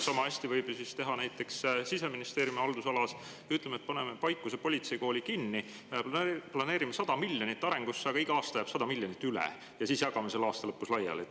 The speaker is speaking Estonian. Samahästi võib teha näiteks Siseministeeriumi haldusalas nii, et paneme, ütleme, Paikuse politseikooli kinni, planeerime 100 miljonit arenduse jaoks, aga iga aasta jääb 100 miljonit üle ja siis jagame selle aasta lõpus laiali.